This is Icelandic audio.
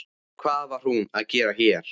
Hvað var hún að gera hér?